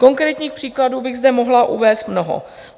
Konkrétních příkladů bych zde mohla uvést mnoho.